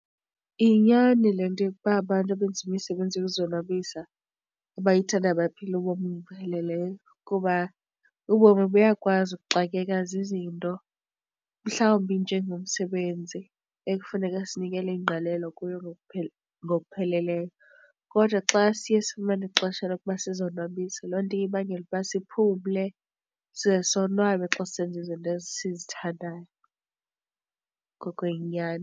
Yinyani le nto yokuba abantu abenza imisebenzi yokuzonwabisa abayithandayo baphila ubomi obupheleleyo kuba ubomi buyakwazi ukuxakeka zizinto, mhlawumbi njengomsebenzi ekufuneka sinikele ingqalelo kuyo ngokupheleleyo. Kodwa xa siye sifumane ixesha lokuba sizonwabise, loo nto iye ibangele ukuba siphumle size sonwabe xa sisenza izinto esizithandayo ngoko yinyani.